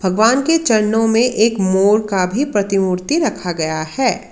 भगवान के चरणों में एक मोर का भी प्रतिमूर्ति रखा गया है।